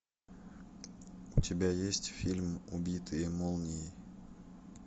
у тебя есть фильм убитые молнией